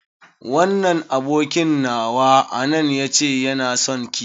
Wannan abokin nawa a nan ya ce yana sonki.